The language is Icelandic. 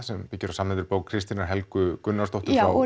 sem byggir á samnefndri bók Kristínar Helgu Gunnarsdóttur já og